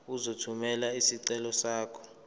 uzothumela isicelo sakho